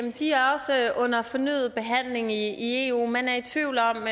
under fornyet behandling i eu man er i tvivl om